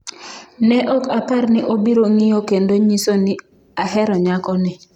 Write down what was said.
Ne ok apar ni obiro ng’iyo kendo nyiso ni: Ahero nyako ni.